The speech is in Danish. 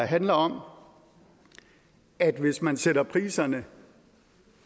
handler om at hvis man sætter priserne